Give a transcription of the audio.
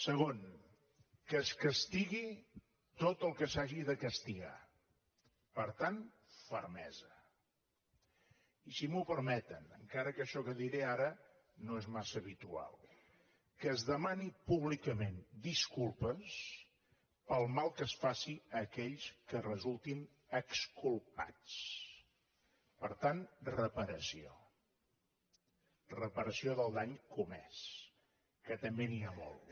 segon que es castigui tot el que s’hagi de castigar per tant fermesa i si m’ho permeten encara que això que diré ara no és massa habitual que es demanin públicament disculpes pel mal que es faci a aquells que resultin exculpats per tant reparació reparació del dany comès que també n’hi ha molt